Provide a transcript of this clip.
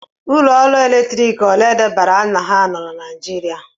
Ụlọ ọrụ ọkụ eletrik ole edebanyere aha ha nọ na Naịjirịa??